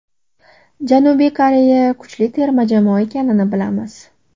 Janubiy Koreya kuchli terma jamoa ekanini bilamiz.